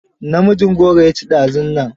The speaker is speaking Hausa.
Namijin gora ya ci dazunnan.